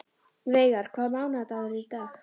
Veigar, hvaða mánaðardagur er í dag?